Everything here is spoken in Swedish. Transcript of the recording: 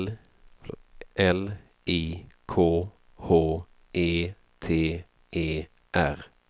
L I K H E T E R